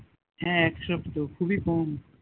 হ্যাঁ এক সপ্তাহ খুবই কম